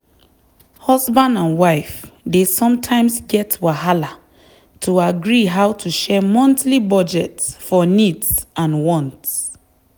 husband and wife dey sometimes get wahala to agree how to share monthly budget for needs and wants.